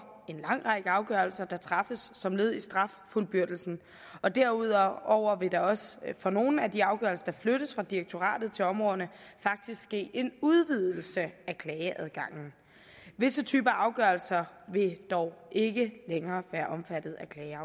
en lang række afgørelser der træffes som led i straffuldbyrdelsen og derudover vil der også for nogle af de afgørelser der flyttes fra direktoratet til områderne ske en udvidelse af klageadgangen visse typer afgørelser vil dog ikke længere være omfattet